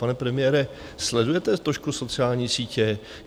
Pane premiére, sledujete trošku sociální sítě?